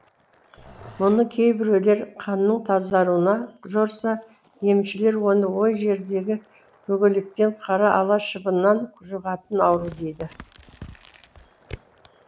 мұны кейбіреулер қанның тазаруына жорыса емшілер оны ой жердегі бөгелектен қара ала шыбыннан жұғатын ауру дейді